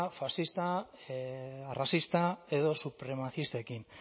faszista arrazista edo supremazistekin